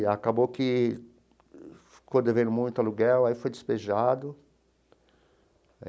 E acabou que ficou devendo muito aluguel, aí foi despejado.